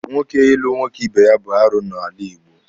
Nwoke ịlụ nwoke ibe ya bụ arụ n'ala Igbo.